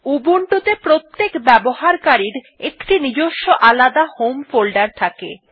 Ubuntu ত়ে প্রত্যেক ব্যবহারকারীর একটি নিজস্ব আলাদা হোম ফোল্ডার থাকে